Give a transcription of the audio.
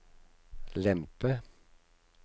lempe